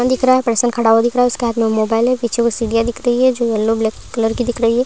Phone दिख रहा है। पर्सन खड़ा हुआ दिख रहा है उसके हाथ मे मोबाईल है पीछे कुछ सीड़िया दिख रही है जो येलो ब्लैक कलर की दिख रही है।